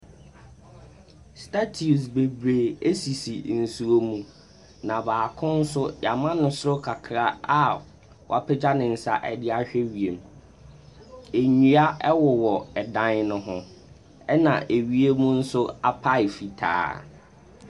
Statius bebree ɛsisi nsuo mu na baako so y'amo no so kakraa a w'apagya ne nsa ɛde ahwɛ wiem. Ɛnua ɛwowɔ ɛdan no ho ɛna ɛwiem mu nso apae fitaa.